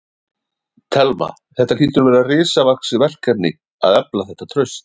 Telma: Þetta hlýtur að vera risavaxið verkefni að efla þetta traust?